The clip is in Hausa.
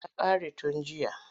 Ta ƙare tun jiya.